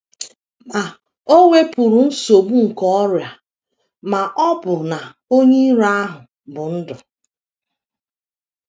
Ma o wepuru nsogbu nke ọrịa ma ọ bụ na onye iro ahụ bụ́ ndu.